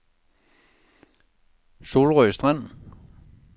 Solrød Strand